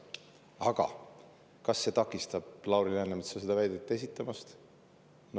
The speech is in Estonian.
Aga kas see takistab Lauri Läänemetsa seda väidet esitamast?